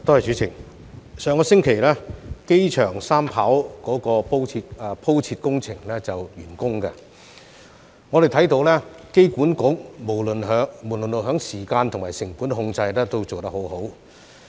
主席，上星期，機場三跑的鋪設工程完工，我們看到香港機場管理局無論在時間和成本控制都做得很好。